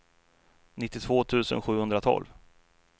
nittiotvå tusen sjuhundratolv